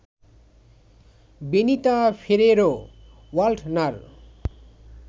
Benita Ferrero Waldner